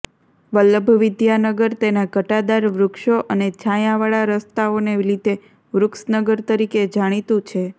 વલ્લભ વિદ્યાનગર તેના ઘટાદાર વૃક્ષો અને છાયાંવાળા રસ્તાઓને લીધે વૃક્ષનગર તરીકે જાણીતું છે